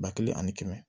Ba kelen ani kɛmɛ